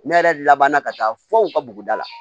Ne yɛrɛ labanna ka taa fo u ka buguda la